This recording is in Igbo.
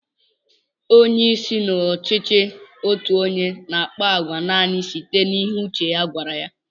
Onyeisi n'ọchịchị otu onye n'àkpá àgwà nani site n'ihe uche ya gwara ya